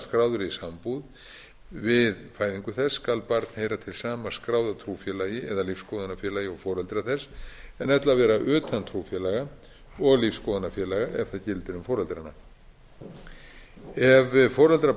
skráðri sambúð við fæðingu þess skuli barn heyra til sama skráða trúfélagi eða lífsskoðunarfélagi og foreldrar þess en ella vera utan trúfélaga og lífsskoðunarfélaga ef það gildir um foreldrana ef foreldrar